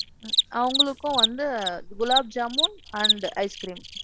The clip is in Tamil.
அவங்களுக்கும் வந்து gulab jamun and ice cream.